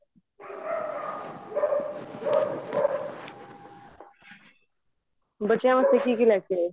ਬੱਚਿਆ ਵਾਸਤੇ ਕਿ ਕਿ ਲੈਕੇ ਆਏ